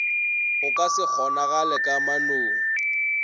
go ka se kgonagale kamanong